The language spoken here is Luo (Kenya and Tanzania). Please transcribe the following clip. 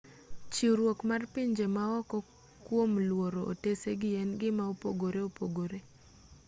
chiwruok mar pinje maoko kuom luoro otesegi en gima opogore opogore